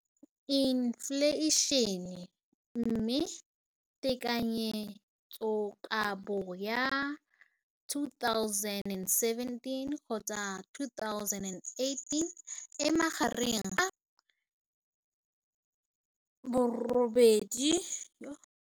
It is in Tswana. Infleišene, mme tekanyetsokabo ya 2017, 18, e magareng ga R6.4 bilione.